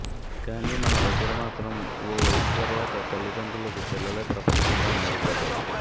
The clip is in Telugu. కానీ మన దగ్గర మాత్రం ఓ వయసు తర్వాత తల్లిదండ్రులకు పిల్లలే ప్రపంచంగా మారిపోతారు